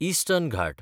eastern Ghat